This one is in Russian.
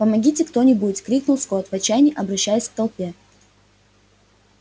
помогите кто нибудь крикнул скотт в отчаянии обращаясь к толпе